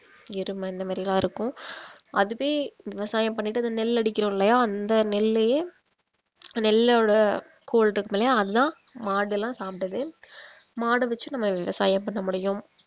எருமை இந்த மாரி இருக்கும் அதுவே விவசாயம் பண்ணிட்டு இந்த நெல் அடிக்கிறோம் இல்லையா அந்த நெல்லையே நெல்லோட தோள் இருக்குது இல்லையா அது தான் மாடெல்லாம் சாப்பிடுது மாட வெச்சி நம்ம விவசாயம் பண்ண முடியும்